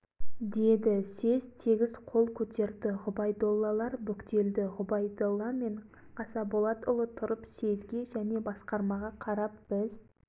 жанша жарайды енді манағы біздің айтқанымыздай бай демей кедей демей түндік басына бірдей қылып жүз сомнан салынсын дегендеріңіз